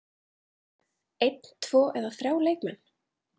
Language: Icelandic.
Einn, tvo eða þrjá leikmenn?